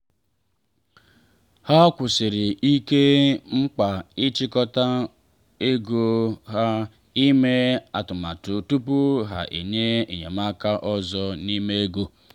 ha kwusiri ike mkpa ịchịkọta ego na ime atụmatụ tupu ha enye enyemaka ọzọ n’ime ego.